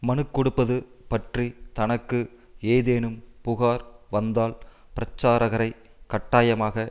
மனுக்கொடுப்பது பற்றி தனக்கு ஏதேனும் புகார் வந்தால் பிரச்சாரகரை கட்டாயமாக